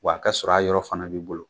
Wa a kɛ sɔrɔ a yɔrɔ fana b'i bolo.